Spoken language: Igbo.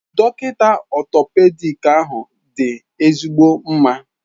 Dọkịta Orthopedic ahụ dị ezigbo mma